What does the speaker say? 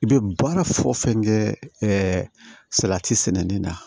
I bɛ baara fɛn o fɛn kɛ salati sɛnɛni na